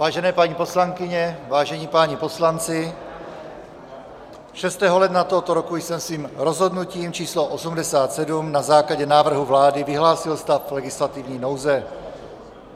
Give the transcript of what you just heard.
Vážené paní poslankyně, vážení páni poslanci, 6. ledna tohoto roku jsem svým rozhodnutím číslo 87 na základě návrhu vlády vyhlásil stav legislativní nouze.